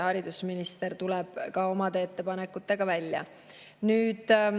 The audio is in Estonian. Haridusminister tuleb ka oma ettepanekutega välja.